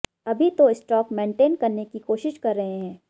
अभी तो stock maintain करने की कोशिश कर रहे हैं